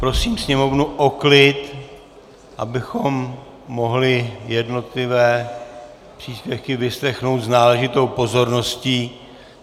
Prosím sněmovnu o klid, abychom mohli jednotlivé příspěvky vyslechnout s náležitou pozorností.